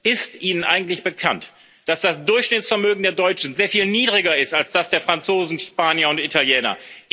Ist Ihnen eigentlich bekannt, dass das Durchschnittsvermögen der Deutschen sehr viel niedriger ist als das der Franzosen, Spanier und Italiener?